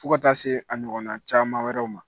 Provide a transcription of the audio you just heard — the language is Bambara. fɔ ka taa se a ɲɔgɔnna caman wɛrɛw ma.